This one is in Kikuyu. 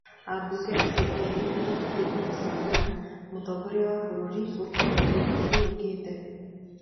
Aabunge acio erĩ nĩmabatiĩ kũmũcagũra mũtongorĩa wa bũrũri gũgĩkinyĩria mweri ũkĩte.